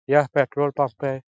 यह petrol pump है।